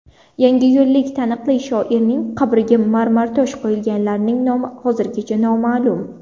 Yangiyo‘llik taniqli shoirning qabrga marmartosh qo‘yganlarning nomi hozirgacha noma’lum.